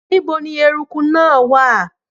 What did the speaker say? Níbo ni eruku náà wà?